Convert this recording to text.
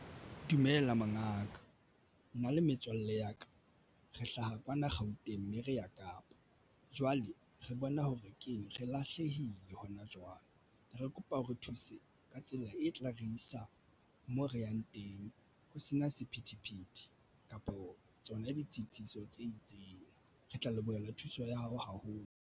Dumela mongaka nna le metswalle ya ka re hlaha kwana Gauteng mme re ya Kapa jwale re bona hore re kene re lahlehile hona jwale, re kopa ba re thuse ka tsela e tla re isa moo re yang teng. Ho sena sephethephethe kapo tsona ditshitiso tse itseng re tla lebohela thuso ya hao haholo.